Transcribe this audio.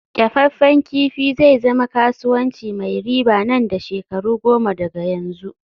kyafaffen kifi zai zama kasuwanci mai riba nan da shekaru goma daga yanzu